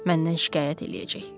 Məndən şikayət eləyəcək.